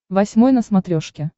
восьмой на смотрешке